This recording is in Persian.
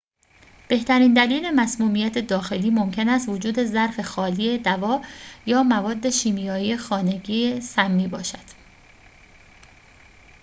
بهترین دلیل مسمومیت داخلی ممکن است وجود ظرف خالی دوا یا مواد شیمیایی خانگی سمی باشد